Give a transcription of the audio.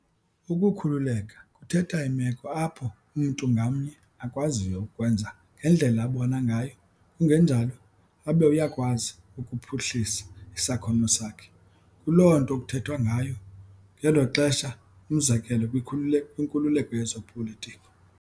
Ukukhululeka kuthetha imeko apho umntu ngamnye akwaziyo ukwenza ngendlela abona ngayo kungenjalo, abe uyakwazi ukuphuhlisa isakhono sakhe, kuloo nto kuthethwa ngayo ngelo xesha umzekelo kwinkululeko yezopolitiko.